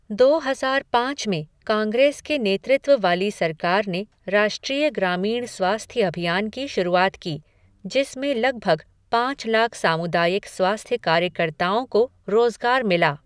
दो हजार पाँच में कांग्रेस के नेतृत्व वाली सरकार ने राष्ट्रीय ग्रामीण स्वास्थ्य अभियान की शुरुआत की, जिसमें लगभग पाँच लाख सामुदायिक स्वास्थ्य कार्यकर्ताओं को रोज़गार मिला।